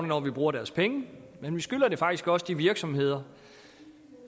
når vi bruger deres penge men vi skylder det faktisk også de virksomheder